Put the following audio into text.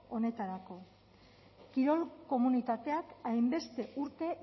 honetarako kirol komunitateak hainbeste urte